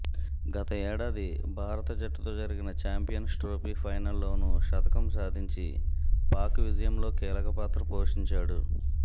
గత ఏడాది భారత జట్టుతో జరిగిన ఛాంపియన్స్ ట్రోఫీ ఫైనల్లోనూ శతకం సాధించి పాక్ విజయంలో కీలక పాత్ర పోషించాడు